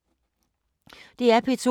DR P2